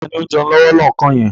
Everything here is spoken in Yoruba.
Taàní ó ń jẹun lọ́wọ́ lọ́kàn yẹn?